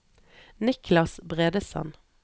Niklas Bredesen